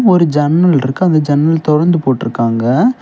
ஒரு ஜன்னல் இருக்கு அந்த ஜன்னல் தொறந்து போட்டிருக்காங்க.